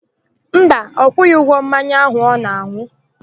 Mba, ọ kwụghị ụgwọ mmanya áhù ọ na-an̄ụ.